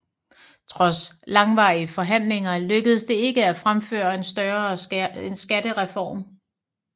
Trods langvarige forhandlinger lykkedes det ikke at gennemføre en større skattereform